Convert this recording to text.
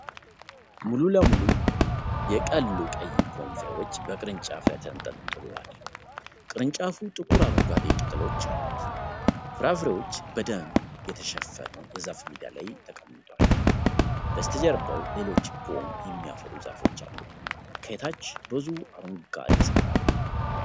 ሙሉ ለሙሉ የቀሉ ቀይ ፖም ፍሬዎች በቅርንጫፍ ላይ ተንጠልጥለዋል። ቅርንጫፉ ጥቁር አረንጓዴ ቅጠሎች አሉት። ፍራፍሬዎች በደን የተሸፈኑ የዛፍ ሜዳ ላይ ተቀምጠዋል። በስተጀርባ ሌሎች ፖም የሚያፈሩ ዛፎች አሉ። ከታች ብዙ አረንጓዴ ሣር አለ።